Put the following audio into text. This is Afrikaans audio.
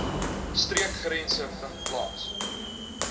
streekgrense vind plaas